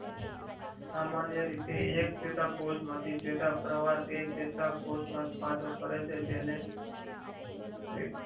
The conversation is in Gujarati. સામાન્ય રીતે એક ચેતા કોષ માંથી ચેતા પ્રવાહ એ ચેતાકોષ માં ઉત્પાદન કરે છે તેને